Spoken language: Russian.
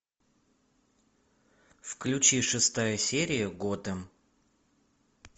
включи шестая серия готэм